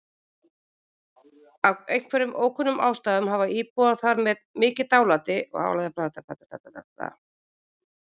Af einhverjum ókunnum ástæðum hafa íbúar þar mikið dálæti á geimskipum og-verum.